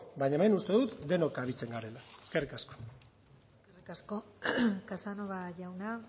baina hemen uste dut denok kabitzen garela eskerrik asko eskerrik asko casanova jauna